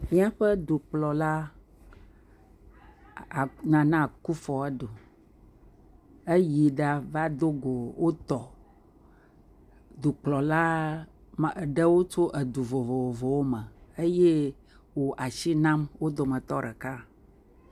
Míaƒe dukplɔla Nana Akuffo Addo yi ɖa va dogo etɔwo. Dukplɔla aɖewo tso du vovovowo me eye wosi nam wo dometɔ ɖeka.